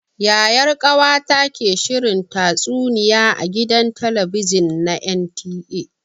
Yayar ƙawata ke shirin tatsuniya a gidan talabijin na NTA.